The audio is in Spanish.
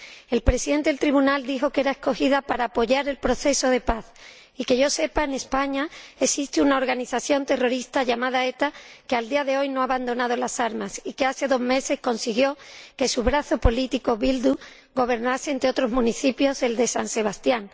El presidente del tribunal dijo que era escogida para apoyar el proceso de paz y, que yo sepa, en España existe una organización terrorista, llamada ETA, que, a día de hoy, no ha abandonado las armas y que hace dos meses consiguió que su brazo político, Bildu, gobernase, entre otros municipios, el de San Sebastián.